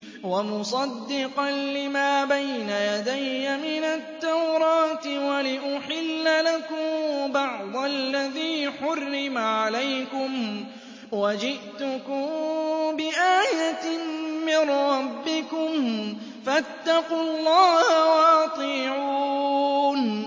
وَمُصَدِّقًا لِّمَا بَيْنَ يَدَيَّ مِنَ التَّوْرَاةِ وَلِأُحِلَّ لَكُم بَعْضَ الَّذِي حُرِّمَ عَلَيْكُمْ ۚ وَجِئْتُكُم بِآيَةٍ مِّن رَّبِّكُمْ فَاتَّقُوا اللَّهَ وَأَطِيعُونِ